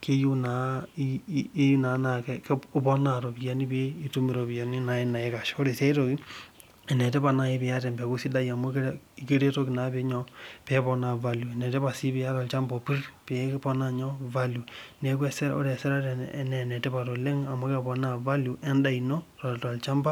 keyieu na iponaa ropiyani naikasha ore si a itoki enetipat si eniata empeku sidai amu keponaa value enetipat si eniata olchamba opir peiponaa value neaku ore esirare enetipat oleng amu keponaa value endaa ino tolchamba.